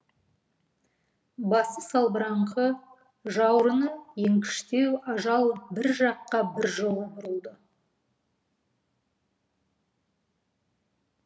басы салбыраңқы жауырыны еңкіштеу ажал бір жаққа біржола бұрылды